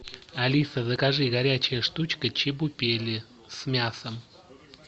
алиса закажи горячая штучка чебупели с мясом